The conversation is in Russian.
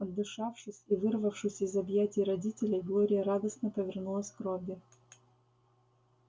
отдышавшись и вырвавшись из объятий родителей глория радостно повернулась к робби